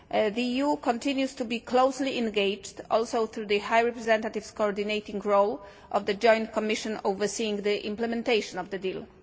The EU continues to be closely engaged, including through the High Representative's coordinating role of the Joint Commission overseeing the implementation of the deal.